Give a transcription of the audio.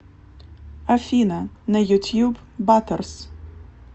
афина на ютьюб батерс